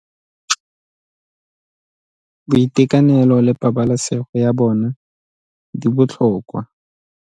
Boitekanelo le pabalesego ya bona di botlhokwa.